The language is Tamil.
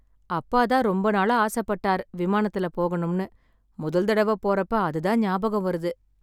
அப்பா தான் ரொம்ப நாளா ஆசைப்பட்டார் விமானத்துலப் போகனும்னு, முதல் தடவை போறப்ப அது தான் ஞாபகம் வருது.